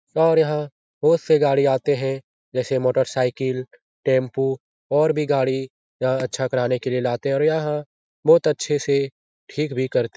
और यहाँ बहुत से गाड़ी आते हैं जैसे मोटर साइकिल टैम्पू और भी गाड़ी यहाँ अच्छा कराने के लिए लाते है और यहाँ बहुत अच्छे से ठीक भी करते --